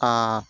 Aa